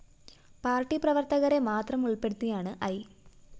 പാര്‍ട്ടിപ്രവര്‍ത്തകരെ മാത്രം ഉള്‍പെടുത്തിയാണ് ഐ